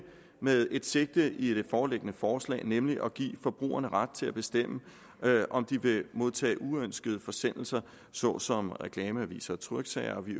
med et sigte i det foreliggende forslag nemlig at give forbrugerne ret til at bestemme om de vil modtage uønskede forsendelser såsom reklameaviser og tryksager og vi